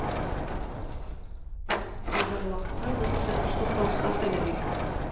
алдағы уақытта бұл көрсеткіш тоқтаусыз арта бермек